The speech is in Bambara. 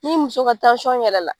N'i muso ka yɛlɛnna